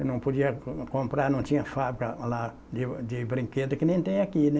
Eu não podia com comprar, não tinha fábrica lá de de brinquedo que nem tem aqui, né?